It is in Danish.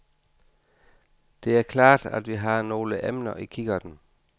Det er klart, at vi har nogle emner i kikkerten.